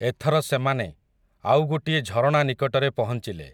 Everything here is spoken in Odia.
ଏଥର ସେମାନେ, ଆଉ ଗୋଟିଏ ଝରଣା ନିକଟରେ ପହଞ୍ଚିଲେ ।